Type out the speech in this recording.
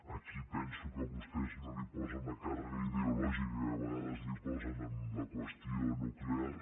aquí penso que vostès no hi posen la càrrega ideològica que a vegades posen en la qüestió nuclear